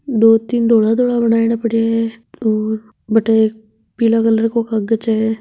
दो तीन धोला धोला बनायोडा पड्या है और बठे एक पीला कलर को कागज है।